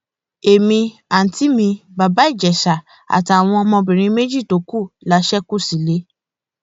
èmi àùntí mi bàbá ìjẹsà àtàwọn ọmọbìnrin méjì tó kù la ṣe kú sílẹ